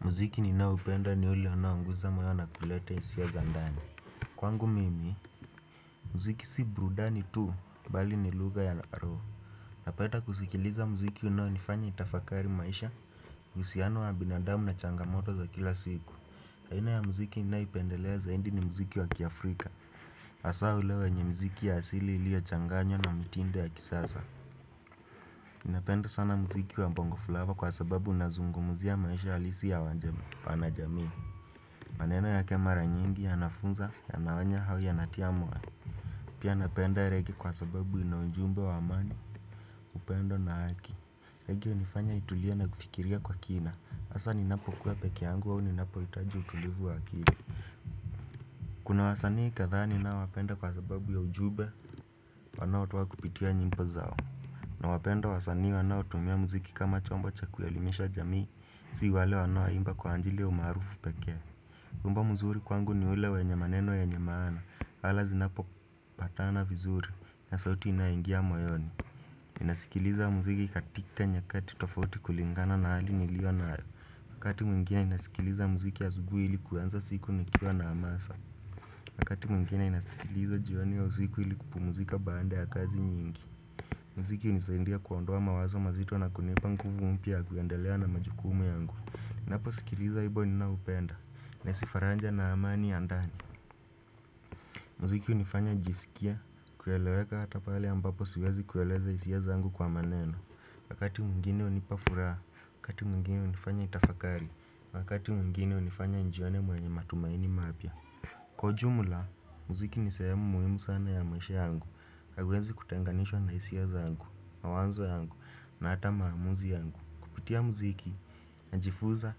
Muziki ninaupenda ni ule unaunguza maaana na kuleta hisia za ndani Kwangu mimi Muziki si burudani tu bali ni lugha ya roho Napenda kusikiliza mziki unaonifanya nitafakari maisha uhusiano wa binadamu na changamoto za kila siku aina ya mziki ninayoipendelea zaidi ni mziki wa kiafrika Asaa ule wanye mziki ya asili iliyo changanywa na mitindo ya kisasa ninapenda sana mziki wa bongo flava kwa sababu unazungumzia maisha halisi ya wana jamii maneno yake mara nyingi yanafunza yanaonya au yanatia moyo. Pia napenda rege kwa sababu ina ujumbe wa amani upendo na haki. Rege unifanya nitulia na kufikiria kwa kina asa ninapo kuwa peke angu au ninapo hitaji utulivu wa akili Kuna wasanii kadhaa ninaowapenda wapenda kwa sababu ya ujumbe wanao toa kupitia nyimbo zao na wapenda wasanii wanao tumia mziki kama chombo cha kuelimisha jamii si wale wanao imba kwa anjili ya umaarufu pekee wimbo mzuri kwangu ni ule wanyw maneno yenye maana pale zinapopata vizuri na sauti inaingia moyoni nasikiliza muziki katika nyakati tofauti kulingana na hali niliyona nayo. Wakati mwingine ninasikiliza muziki asubuhi ili kuanza siku nikiwa na amasa na wakati mwingine ninasikiliza jioni au usiku ili kupumuzika baada ya kazi nyingi Mziki hunisaindia kuondoa mawazo mazito na kunipa nguvu mpya ya kuendelea na majukumu yangu. Ninaposikiliza wimbo ninaoupenda nahisi faranja na amani ya ndani Muziki unifanya nijisikie kueleweka hata pale ambapo siwezi kueleza hisia zangu kwa maneno. Wakati mwingine hunipa furaha, wakati mwingine hunifanya nitafakari, wakati mwingine hunifanya nijione mwenye matumaini mapya Kwa ujumla, muziki ni sehemu muhimu sana ya maisha yangu haiwezi kutenganishwa na hisia zangu, mawazo yangu na hata maamuzi yangu Kupitia muziki, najifuza,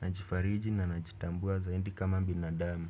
najifariji na najitambua zaindi kama binadamu.